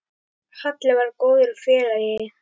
Halli var góður félagi.